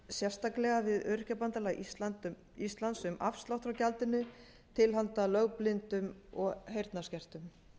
sérstaklega við öryrkjabandalag íslands um afslátt frá gjaldinu til handa lögblindum og heyrnarskertum